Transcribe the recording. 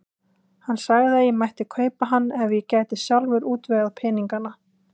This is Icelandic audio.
Hann sagði að ég mætti kaupa hann ef ég gæti sjálfur útvegað peningana.